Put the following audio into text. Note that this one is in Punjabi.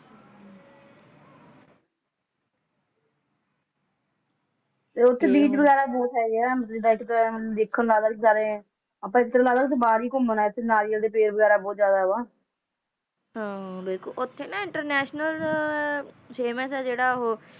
ਲੋਕੀਂ ਕਹਿਣ ਹੁਣ ਨਵਾਂ ਰਿਕਾਰਡ ਬਣਾਉਣ ਲਈ ਕਾਂਗਰਸ ਹਾਈਕਮਾਂਡ